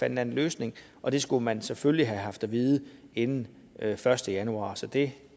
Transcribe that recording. en anden løsning og det skulle man selvfølgelig have haft at vide inden første januar så det